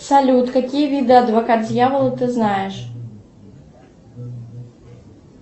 салют какие виды адвокат дьявола ты знаешь